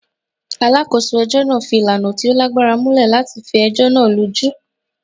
Alákòso ẹ̀jọ́ náà fi ìlànà tí o lágbára múlẹ̀ látifi ẹ̀jọ́ náà lójú.